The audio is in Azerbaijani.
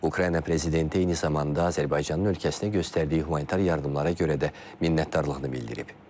Ukrayna prezidenti eyni zamanda Azərbaycanın ölkəsinə göstərdiyi humanitar yardımlara görə də minnətdarlığını bildirib.